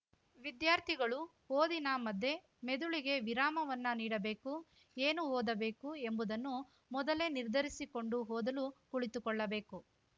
ವಿದ್ಯಾರ್ಥಿಗಳು ಓದಿನ ಮಧ್ಯೆ ಮೆದುಳಿಗೆ ವಿರಾಮವನ್ನ ನೀಡಬೇಕು ಏನು ಓದಬೇಕು ಎಂಬುದನ್ನು ಮೊದಲೇ ನಿರ್ಧರಿಸಿಕೊಂಡು ಓದಲು ಕುಳಿತುಕೊಳ್ಳಬೇಕು